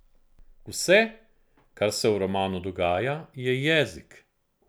Vse, kar se v romanu dogaja, je jezik.